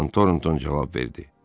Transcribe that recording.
Con Tornton cavab verdi.